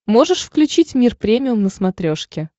можешь включить мир премиум на смотрешке